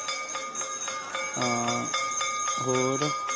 ਹਾਣ ਹੋਰ